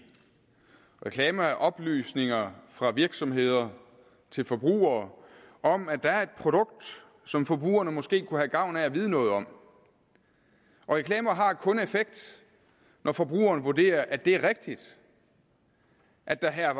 reklamer er oplysninger fra virksomheder til forbrugere om at der er et produkt som forbrugerne måske kunne have gavn af at vide noget om og reklamer har kun effekt når forbrugeren vurderer at det er rigtigt at der her